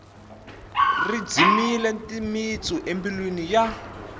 ri dzimile timitsu embilwini ya